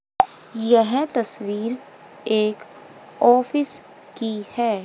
यह तस्वीर एक ऑफिस की है।